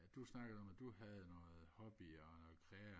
at du snakkede noget om at du havde noget hobby og noget krea